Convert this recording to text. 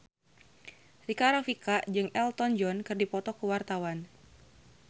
Rika Rafika jeung Elton John keur dipoto ku wartawan